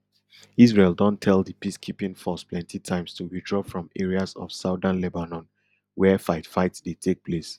israel don tell di peacekeeping force plenty times to withdraw from areas of southern lebanon wia fightfight dey take place